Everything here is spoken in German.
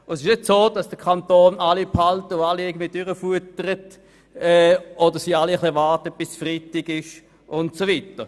Es trifft nicht zu, dass der Kanton alle Angestellten behält und durchfüttert oder dass alle darauf warten, dass es Freitagabend wird.